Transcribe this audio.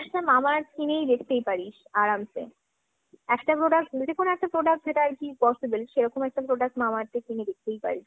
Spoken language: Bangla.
একটা Mamaearth কিনে দেখতেই পারিস আরামসে। যদি কোনো একটা প্রোডাক্ট যেটা আর কিposssible সেরকম একটা প্রোডাক্ট Mamaearth কিনে দেখতেই পারিস।